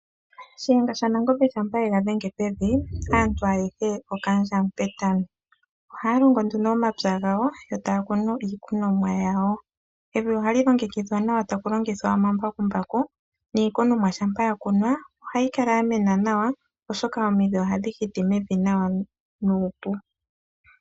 Shiyenga shanangombe shampa yega dhenge pevi aantu ayehe okaandja mupetami. Ohaya longo nduno omapya gawo yo taya kunu iikunomwa yawo. Evi ohali longekidhwa nawa tapu longithwa omambakumbaku, niikunomwa shampa yakunwa ohayi kala yamena nawa oshoka omidhi ohadhi hiti mevi nawa nuupu.